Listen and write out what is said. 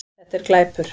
Þetta er glæpur